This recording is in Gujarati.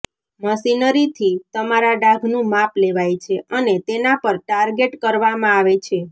મશીનરીથી તમારા ડાઘનું માપ લેવાય છે અને તેના પર ટાર્ગેટ કરવામાં આવે છે